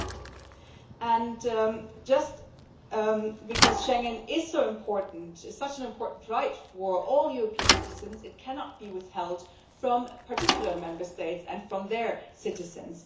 Precisely because Schengen is so important, it is such an important right for all European citizens, it cannot be withheld from particular Member States and from their citizens.